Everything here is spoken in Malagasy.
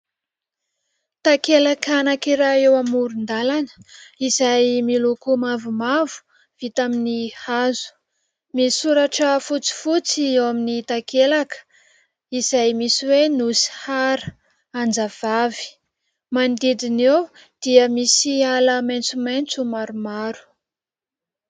Takelaka anankiray eo amoron-dalana izay miloko mavomavo vita amin'ny hazo. Misy soratra fotsifotsy eo amin'ny takelaka izay misy hoe "Nosy hara anjavavy", manodidina eo dia misy ala maitsomaitso maromaro.